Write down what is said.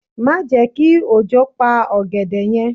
Má je ki òjò pa ògèdè yen